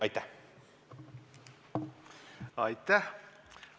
Aitäh!